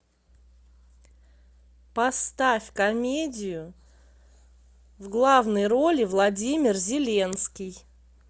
поставь комедию в главной роли владимир зеленский